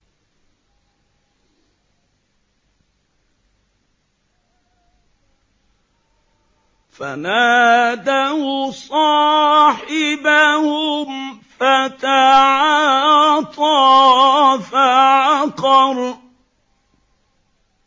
فَنَادَوْا صَاحِبَهُمْ فَتَعَاطَىٰ فَعَقَرَ